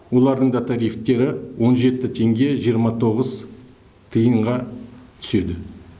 олардың да тарифтері он жеті теңге жиырма тоғыз тиынға түседі